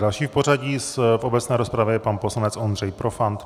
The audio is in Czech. Další v pořadí v obecné rozpravě je pan poslanec Ondřej Profant.